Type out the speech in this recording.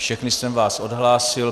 Všechny jsem vás ohlásil.